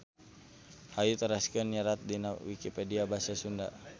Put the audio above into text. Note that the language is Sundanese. Hayu teraskeun nyerat dina Wikipedia Basa Sunda.